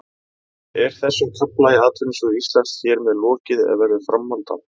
Er þessum kafla í atvinnusögu Íslands hér með lokið eða verður framhald á?